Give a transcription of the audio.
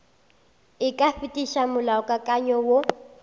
e ka fetiša molaokakanywa woo